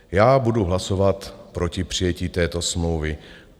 Já budu hlasovat proti přijetí této smlouvy.